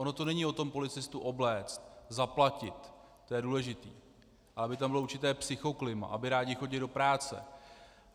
Ono to není o tom policistu obléct, zaplatit, to je důležité, ale aby tam bylo určité psychoklima, aby rádi chodili do práce.